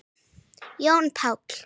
Jón Páll.